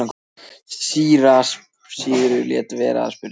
Síra Sigurður lét vera að spyrja.